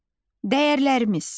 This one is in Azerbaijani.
Dəyərlərimiz.